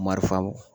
Marifa